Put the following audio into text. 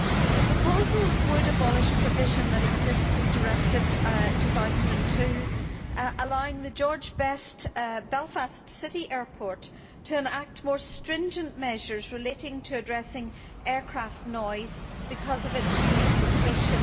The proposals would abolish the provision that exists in Directive 2002 allowing the George Best Belfast City Airport to enact more stringent measures relating to addressing aircraft noise because of its unique location.